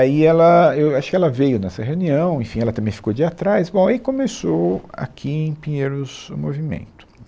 Aí ela, eu acho que ela veio nessa reunião, enfim, ela também ficou de ir atrás, bom, aí começou aqui em Pinheiros o movimento.